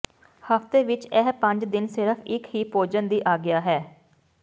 ਹਫਤੇ ਵਿਚ ਇਹ ਪੰਜ ਦਿਨ ਸਿਰਫ ਇੱਕ ਹੀ ਭੋਜਨ ਦੀ ਆਗਿਆ ਹੈ